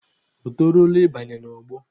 O toruola ị banye n'ọgbọ?